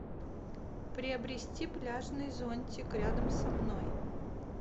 приобрести пляжный зонтик рядом со мной